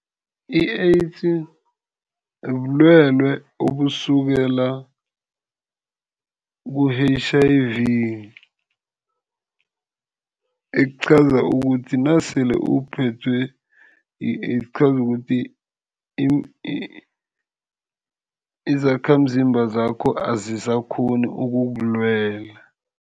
I-AIDS bulwelwe obusukela ku-H_I_V. Ekuqhaza ukuthi nasele uphethwe yi-AIDS kuqhaza ukuthi izakhamzimba zakho azisakghoni ukukulwela.